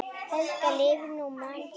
Helga lifir nú mann sinn.